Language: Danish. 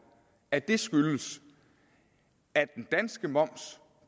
at det skyldes at den danske moms